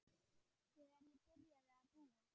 Þegar ég byrjaði að búa.